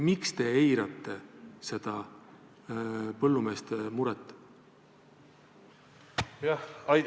Miks te eirate seda põllumeeste muret?